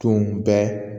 Tun bɛ